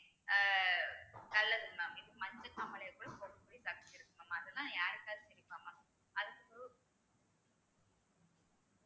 ஆஹ் நல்லது mam இது மஞ்சள் காமாலையை கூட போய் தப்பிச்சிருக்கு அதெல்லாம் யாருக்காவது தெரியுமா mam அதுக்கு